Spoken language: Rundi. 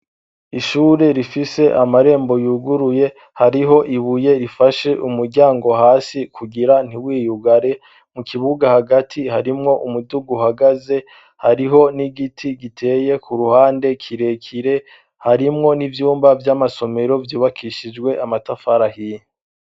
Ishure rifise amarembo yuguruye hariho ibuye rifashe umuryango hasi kugira ntiwiyugare mu kibuga hagati harimwo umuduga hagaze hariho n'igiti giteye ku ruhande kirekire harimwo n'ivyumba vy'amasomero vyubakishijwe amatafari ahiye.